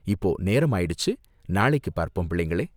இப்போ நேரம் ஆயிடுச்சு! நாளைக்கு பார்ப்போம், பிள்ளைகளே!